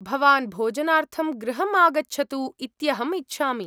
भवान् भोजनार्थं गृहम् आगच्छतु इत्यहम् इच्छामि।